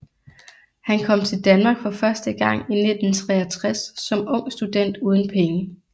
Han kom til Danmark for første gang i 1963 som ung student uden penge